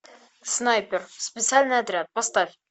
снайпер специальный отряд поставь